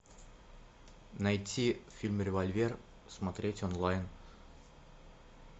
найти фильм револьвер смотреть онлайн